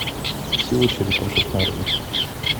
сила черепашек нарой